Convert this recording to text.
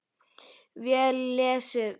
Vel lesið.